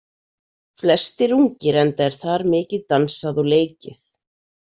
Flestir ungir enda er þar mikið dansað og leikið.